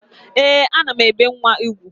Ee, ana m ebe nwa ugwu